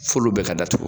F'olu bɛ ka datugu